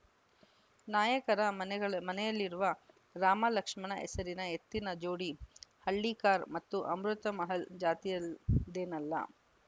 ನಾಯಕರ ಮನೆಗಳ ಮನೆಯಲ್ಲಿರುವ ರಾಮ ಲಕ್ಷ್ಮಣ ಹೆಸರಿನ ಎತ್ತಿನ ಜೋಡಿ ಹಳ್ಳಿಕಾರ್‌ ಮತ್ತು ಅಮೃತಮಹಲ್‌ ಜಾತಿಯದೇನಲ್ಲ